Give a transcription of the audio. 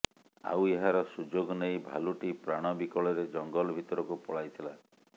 ଆଉ ଏହାର ସୁଯୋଗ ନେଇ ଭାଲୁଟି ପ୍ରାଣ ବିକଳରେ ଜଙ୍ଗଲ ଭିତରକୁ ପଳାଇଥିଲା